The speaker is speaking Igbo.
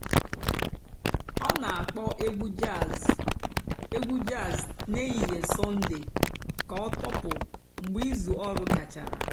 ọ́ nà-àkpọ́ ègwú jàzz ègwú jàzz n'èhìhè sọ́ndée kà ọ́ tọ́pụ́ mg̀bé ìzú ọ̀rụ́ gàchàrà.